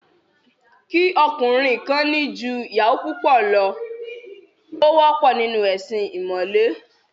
Kí ọkùnrin kan ní ju ìyàwó kan lọ, ó wọ́pọ̀ nínú ẹ̀sin ìmọ̀le